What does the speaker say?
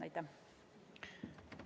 Aitäh!